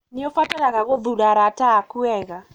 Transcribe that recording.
Nĩ ũbataraga gũthuura arata aku wega.